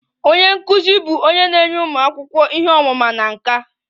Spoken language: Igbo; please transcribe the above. Onye nkụzi bụ onye na-enye ụmụ akwụkwọ ihe ọmụma na nkà.